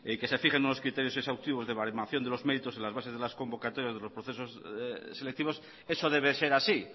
que se fijen unos criterios exhaustivos de baremación de los méritos en las bases de las convocatorias de los procesos selectivos eso debe ser así